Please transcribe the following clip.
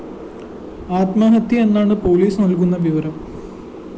ആത്മഹത്യയെന്നാണ് police നല്‍കുന്ന വിവരം